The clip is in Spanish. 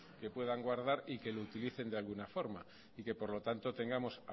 que puedan guardar y que lo utilicen de alguna forma y que por lo tanto tengamos